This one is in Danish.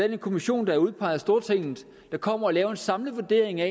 en kommission der er udpeget af stortinget der kommer og laver en samlet vurdering af